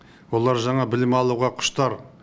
олар жаңа білім алуға құштар